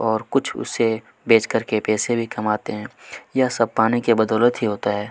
और कुछ उसे बेच करके पैसे भी कमाते हैं यह सब पाने के बदौलत ही होता हैं।